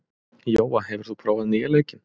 Jóa, hefur þú prófað nýja leikinn?